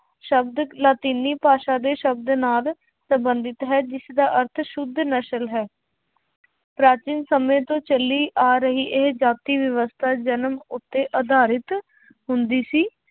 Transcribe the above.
ਸ਼ਬਦ ਲਾਤੀਨੀ ਭਾਸ਼ਾ ਦੇ ਸ਼ਬਦ ਨਾਲ ਸੰਬੰਧਿਤ ਹੈ ਜਿਸਦਾ ਅਰਥ ਸੁੱਧ ਨਸ਼ਲ ਹੈ ਪ੍ਰਾਚੀਨ ਸਮੇਂ ਤੋਂ ਚੱਲੀ ਆ ਰਹੀ ਇਹ ਜਾਤੀ ਵਿਵਸਥਾ ਜਨਮ ਉੱਤੇ ਆਧਾਰਿਤ ਹੁੰਦੀ ਸੀ।